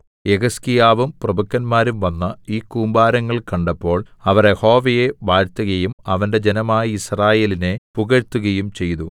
യെഹിസ്കീയാവും പ്രഭുക്കന്മാരും വന്ന് ഈ കൂമ്പാരങ്ങൾ കണ്ടപ്പോൾ അവർ യഹോവയെ വാഴ്ത്തുകയും അവന്റെ ജനമായ യിസ്രായേലിനെ പുകഴ്ത്തുകയും ചെയ്തു